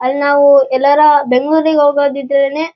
ಅಲ್ ನಾವು ಎಲ್ಲರ ಬೆಂಗಳೂರಿಗೆ ಹೋಗೋದ್ ಇದ್ರೇನೆ--